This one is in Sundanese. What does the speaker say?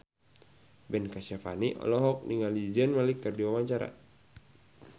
Ben Kasyafani olohok ningali Zayn Malik keur diwawancara